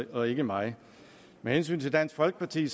og ikke mig og med hensyn til dansk folkeparti